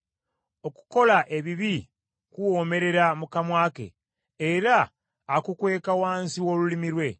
“Okukola ebibi kuwoomerera mu kamwa ke era akukweka wansi w’olulimi lwe,